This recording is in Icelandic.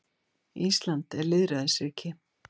Ísland er lýðræðisríki.